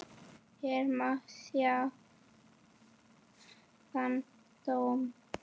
Hér má sjá þann dóm.